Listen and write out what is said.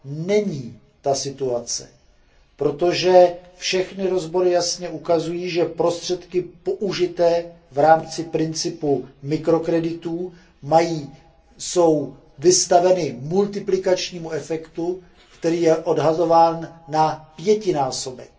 Není tomu tak, protože všechny rozbory jasně ukazují, že prostředky použité v rámci principu mikrokreditů jsou vystaveny multiplikačnímu efektu, který je odhadován na pětinásobek.